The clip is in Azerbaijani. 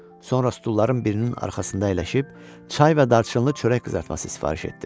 Sonra stulların birinin arxasında əyləşib çay və darçınlı çörək qızartması sifariş etdim.